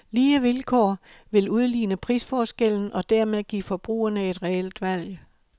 Lige vilkår vil udligne prisforskellen, og dermed give forbrugerne et reelt valg.